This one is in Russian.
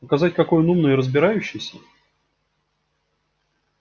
показать какой он умный и разбирающийся